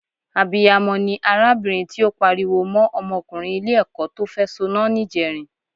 Abiyamọ ni arábìnrin tí ó pariwo mọ́ ọmọkùnrin Ilé-ẹ̀kọ́ tó fẹ́ soná níjẹrin